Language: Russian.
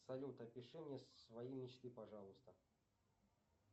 салют опиши мне свои мечты пожалуйста